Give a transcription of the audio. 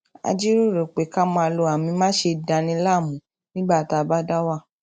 a jíròrò pé ká máa lo àmì máṣe dani láàmú nígbà tá a bá dá wà